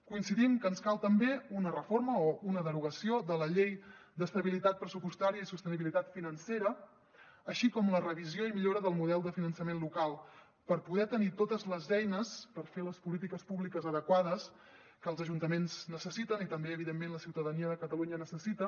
coincidim que ens cal també una reforma o una derogació de la llei d’estabilitat pressupostària i sostenibilitat financera així com la revisió i millora del model de finançament local per poder tenir totes les eines per fer les polítiques públiques adequades que els ajuntaments necessiten i també evidentment la ciutadania de catalunya necessita